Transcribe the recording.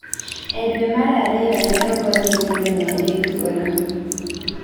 E dwe mar ariyo ne ogony nyithindo 300 thuolo.